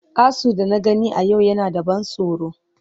Asu da na gani a yau yana da ban tsoro.